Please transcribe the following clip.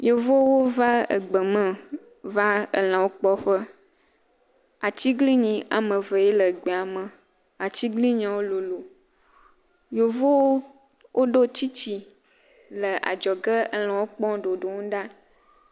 Yevuwo va gbe me va lãwo kpɔ ƒe. Atigblinyi woame eve ye le gbea me. Atiglinyiawo lolo. Yevuwo ɖo tsitsi le adzɔge, lãwo kpɔm ɖoɖom ɖa.